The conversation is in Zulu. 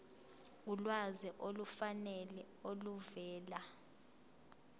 ulwazi olufanele oluvela